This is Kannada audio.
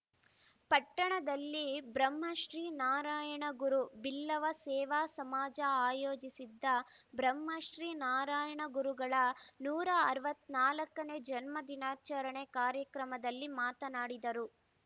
ಪಟ್ಟಣದಲ್ಲಿ ಬ್ರಹ್ಮಶ್ರೀ ನಾರಾಯಣಗುರು ಬಿಲ್ಲವ ಸೇವಾ ಸಮಾಜ ಆಯೋಜಿಸಿದ್ದ ಬ್ರಹ್ಮಶ್ರೀ ನಾರಾಯಣಗುರುಗಳ ನೂರ ಅರವತ್ತ್ ನಾಲ್ಕ ನೇ ಜನ್ಮ ದಿನಾಚಾರಣೆ ಕಾರ್ಯಕ್ರಮದಲ್ಲಿ ಮಾತನಾಡಿದರು